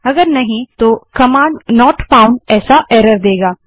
यदि नहीं तो कमांड नॉट फाउन्ड ऐसा एरर देगा